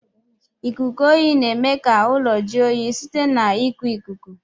lkuku oyi na eme ka ụlọ jụọ oyi site na iku ikuku.